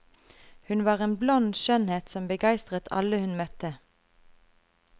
Hun var en blond skjønnhet som begeistret alle hun møtte.